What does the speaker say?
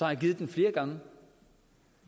har givet den flere gange